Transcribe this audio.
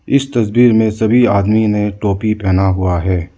इस तस्वीर में सभी आदमी ने टोपी पहना हुआ है।